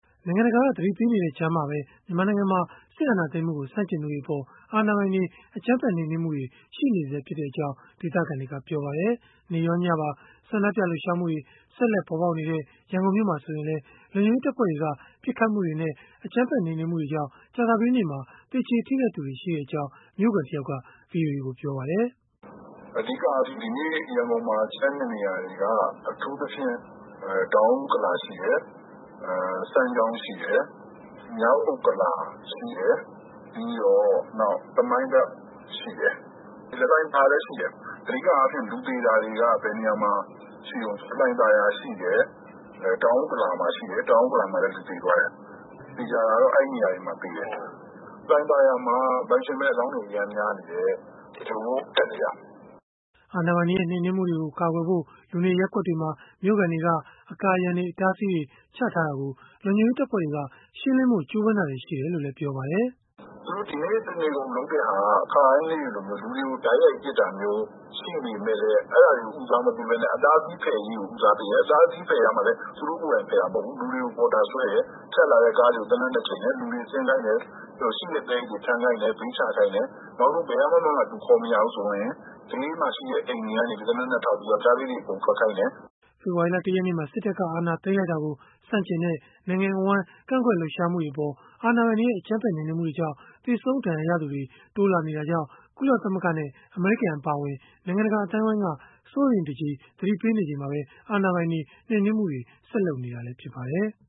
နိုင်ငံတကာက သတိပေးနေတဲ့ ကြားမှာပဲ မြန်မာနိုင်ငံမှာ စစ်အာဏာသိမ်းမှုကို ဆန့်ကျင်သူတွေအပေါ် အာဏာပိုင်တွေ အကြမ်းဖက်နှိမ်နင်းမှုတွေ ရှိနေဆဲဖြစ်ကြောင်း ဒေသခံတွေက ပြောပါတယ်။ နေ့ရော၊ ညပါ ဆန္ဒပြလှုပ်ရှားမှုတွေ ဆက်လက် ပေါ်ပေါက်နေတဲ့ ရန်ကုန်မြို့မှာ ဆိုရင်လည်း လုံခြုံရေးတပ်ဖွဲ့တွေက ပစ်ခတ်မှုတွေနဲ့ အကြမ်းဖက် နှိမ်နင်းမှုတွေကြောင့် ကြာသပတေးနေ့မှာ သေကျေထိခိုက်သူတွေ ရှိခဲ့ကြောင်း မြို့ခံတယောက်က ဗွီအိုအေကို ပြောပါတယ်။ "အဓိက ဒီကနေ့ ရန်ကုန်မှာ ကြမ်းတဲ့ နေရာတွေက တောင်ဥက္ကလာရှိတယ်၊ စမ်းချောင်းရှိတယ်၊ မြောက်ဥက္ကလာ ပြီးတော့ သမိုင်းဘက်ရှိတယ်။ လှိုင်သာယာလည်းရှိတယ်။ အဓိက လူတွေသေတာကတော့ လှိုင်သာယာ ရှိတယ်၊ တောင်ဥက္ကလာရှိတယ်၊ တောင်ဥက္ကလာ မှာတော့ လူသေသွားတယ်။ သေချာတာကတော့ အဲဒီနေရာတွေမှာ လူသေတယ်။ လှိုင်သာယာမှာ ပိုင်ရှင်မဲ့အလောင်းတွေအရမ်းများနေတယ်။" အာဏာပိုင်တွေရဲ့ နှိမ်နင်းမှုတွေကို ကာကွယ်ဖို့ လူနေရပ်ကွက်တွေမှာ မြို့ခံတွေက အကာအရံတွေ အတားအဆီးတွေ ချထားတာကို လုံခြုံရေးတပ်ဖွဲ့တွေက ရှင်းလင်းဖို့ ကြိုးပမ်းတာတွေ ရှိခဲ့တယ်လို့လည်း ပြောပါတယ်။ "သူတို့ ဒီနေ့ တနေကုန်လုပ်တာက ခါတိုင်းနေ့တွေလိုမျိုး လူတွေကို တိုက်ရိုက် ပစ်တာမျိုး ရှိပေမယ့်လည်း အတားအဆီးဖယ်ရေးကို ဦးစားပေးတယ်။ အတားအဆီးဖယ်တာမှာလည်း သူတို့ကိုယ်တိုင်ဖယ်တာမဟုတ်ဘူး လူတွေကို ပေါ်တာဆွဲတယ်၊ ဖြတ်လာတဲ့ ကားတွေကို သေနတ်နဲ့ ချိန်တယ် လူတွေဆင်းခိုင်းတယ် ။ ပြီးတော့ ရှိတဲ့ သဲအိတ်တွေထမ်းခိုင်းတယ်၊ ဘေးချခိုင်းတယ်။ နောက်ဆုံး ဘယ်မှာမှ လူခေါ်မရဘူးဆိုရင် ဘေးမှာ ရှိတဲ့ အိမ်တွေကနေ သေနတ်နဲ့ ထောက်ပြီးတော့ ယောင်္ကျားလေးတွေ အကုန်ထွက်ခိုင်းတယ်။" ဖေဖော်ဝါရီလ ၁ ရက်နေ့မှာ စစ်တပ်က အာဏာသိမ်းလိုက်တာကို ဆန့်ကျင်တဲ့ နိုင်ငံအဝန်း ကန့်ကွက်လှုပ်ရှားမှုတွေအပေါ် အာဏာပိုင်တွေရဲ့ အကြမ်းဖက်နှိမ်နင်းမှုတွေကြောင့် သေဆုံးဒဏ်ရာရသူတွေ တိုးလာနေတာကြောင့် ကုလသမဂ္ဂနဲ့ အမေရိကန် အပါအဝင် နိုင်ငံတကာ အသိုင်းအဝန်းက စိုးရိမ်တကြီး သတိပေးနေချိန်မှာပဲ အာဏာပိုင်တွေ နှိမ်နင်းမှုတွေ ဆက်လုပ်နေတာ ဖြစ်ပါတယ်။